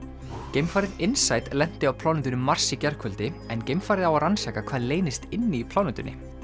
geimfarið lenti á plánetunni Mars í gærkvöldi en geimfarið á að rannsaka hvað leynist inni í plánetunni